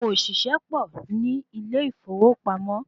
Àwọn òṣìṣẹ́ pọ̀ ní ilé ìfowópamọ́